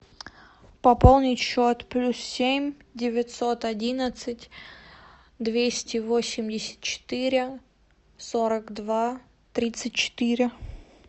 пополнить счет плюс семь девятьсот одиннадцать двести восемьдесят четыре сорок два тридцать четыре